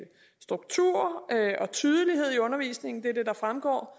struktur og tydelighed i undervisningen det er det der fremgår